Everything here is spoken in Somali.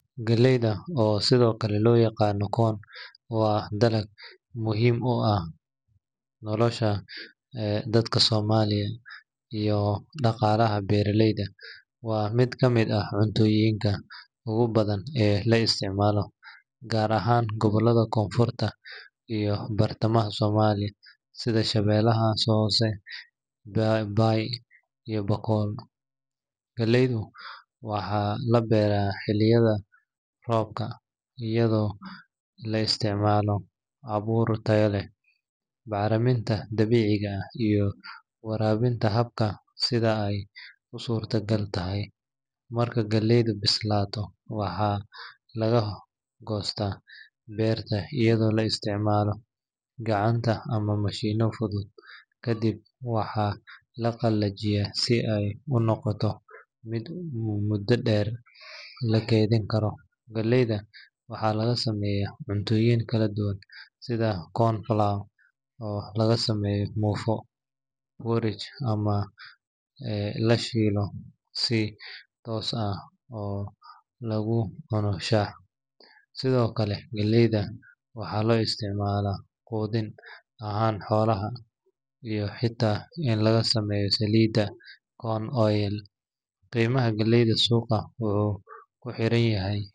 Galleyda – oo sidoo kale loo yaqaan corn – waa dalag muhiim u ah nolosha dadka Soomaaliyeed iyo dhaqaalaha beeraleyda. Waa mid ka mid ah cuntooyinka ugu badan ee la isticmaalo, gaar ahaan gobollada Koonfurta iyo Bartamaha Soomaaliya sida Shabeellaha Hoose, Bay, iyo Bakool. Galleyda waxaa la beeraa xilliyada roobka, iyadoo la isticmaalo abuur tayo leh, bacriminta dabiiciga ah, iyo waraabin hadba sida ay u suurtagal tahay. Marka galleydu bislaato, waxaa laga goostaa beerta iyadoo la isticmaalo gacanta ama mashiinno fudud. Kadib, waxaa la qalajiyaa si ay u noqoto mid muddo dheer la keydin karo. Galleyda waxaa laga sameeyaa cuntooyin kala duwan sida corn flour oo laga sameeyo muufo, porridge, ama la shiilo si toos ah oo lagu cuno shaah. Sidoo kale, galleyda waxaa loo isticmaalaa quudin ahaan xoolaha iyo xitaa in laga sameeyo saliidda corn oil. Qiimaha galleyda suuqa wuxuu ku xiran yahay.